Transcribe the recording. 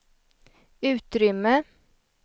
utrymme